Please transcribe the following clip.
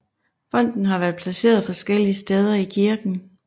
Fonten har været placeret forskellige steder i kirken